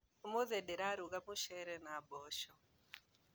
Ũmũthĩ ndĩrarũga mũcere na mboco